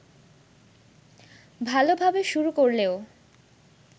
ভালোভাবে শুরু করলেও